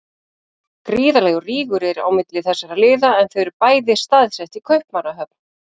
Gríðarlegur rígur er á milli þessara liða en þau eru bæði staðsett í Kaupmannahöfn.